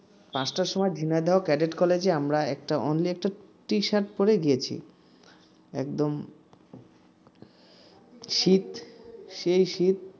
পাঁচটার সময় Jhenaidah cadet college আমরা একটা only একটা t-shirt পরেই গিয়েছি একদম শীত সেই শীত